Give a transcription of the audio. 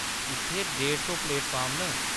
इत्थै ढेड़ सौ प्लेटफार्म न।